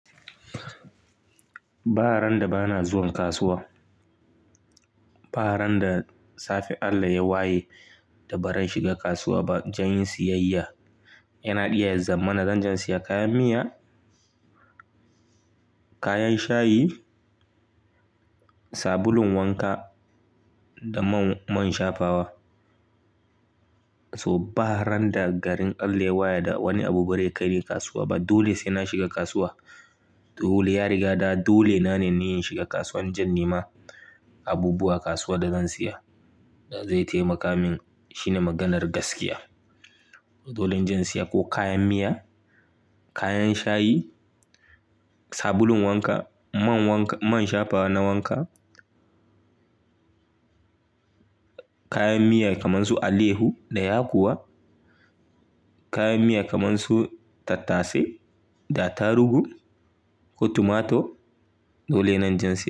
Ba ran da bana zuwan kasuwa. Ba ran da safe Allah ya waye da ba zan shiga kasuwa ba don yin siyayya. Yana iya zama na zan je in siya kayan miya, kayan shayi, sabulun wanka da man shafawa. So ba ran da garin Allah ya waye da wani abu bare kaini kasuwa ba. Dole sai na shiga kasuwa. Dole ya riga da, dole na ne ni in shiga kasuwa in je in nema. Abubuwa a kasuwa da zan siya da zai taimaka min shine maganar gaskiya. Dole in jan siya ko kayan miya, kayan shayi, sabulun wanka, man wanka, man shafawa na wanka, kayan miya kamar su alehu da yakuwa, kayan miya kamar su tattase da attarugu ko tumato. Dole ne in je in siya.